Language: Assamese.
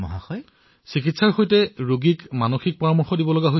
আপোনালোকে চিকিৎসাৰ সৈতে ৰোগীৰ কাউন্সেলিঙো কৰি আছে